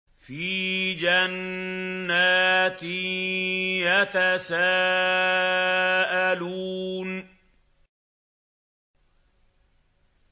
فِي جَنَّاتٍ يَتَسَاءَلُونَ